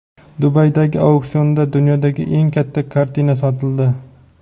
Dubaydagi auksionda dunyodagi eng katta kartina sotildi.